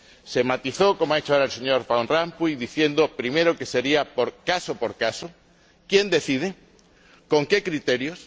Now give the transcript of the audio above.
Se matizó, como ha hecho ahora el señor Van Rompuy, diciendo, primero, que sería caso por caso ¿quién decide y con qué criterios?